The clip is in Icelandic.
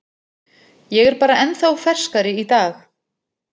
Ég er bara ennþá ferskari í dag.